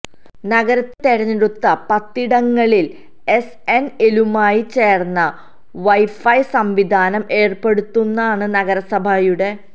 നഗരത്തിലെ തെരഞ്ഞെടുത്ത പത്തിടങ്ങളിൽ ിഎസ്എൻഎലുമായി ചേർന്ന് വൈഫൈ സംവിധാനം ഏർപ്പെടുത്താനാണ് നഗരസഭയുട